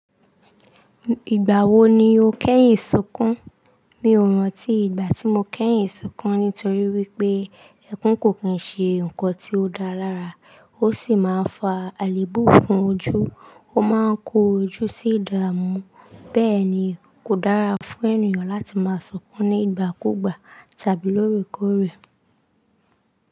Ìgbà wo ni o kẹ́yìn sunkún? Mi ò rántí ìgbà tí mo kẹ́yìn sunkún nítorí wípé ẹkún kò kín ṣe nǹkan tí ó dáa lára, ó sì máa ń fa àléébù fún ojú, ó máa ń kó ojú sí ìdààmú. Bẹ́ẹ̀ ni, kò dára fún ènìyàn láti máa sunkún ní ìgbàkúgbà tàbí lóòrèkóòrè.